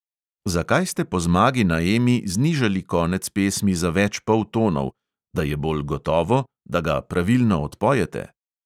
Zakaj ste po zmagi na emi znižali konec pesmi za več poltonov – da je bolj gotovo, da ga pravilno odpojete?